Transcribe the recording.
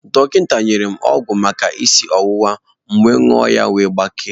Dọkịta nyere m ọgwụ maka isi ọwụwa, m ṅụọ ya wee gbakee